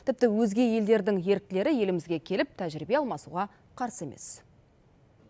тіпті өзге елдердің еріктілері елімізге келіп тәжірибе алмасуға қарсы емес